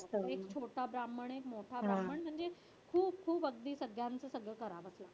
एक छोटा ब्राम्हण एक मोठा ब्राम्हण म्हणजे खूप खूप अगदी सगळ्यांचं सगळं करावंच लागतं.